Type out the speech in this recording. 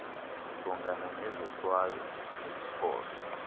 ujongana nezohlwayo zeziphoso